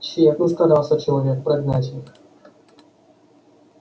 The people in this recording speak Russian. тщетно старался человек прогнать их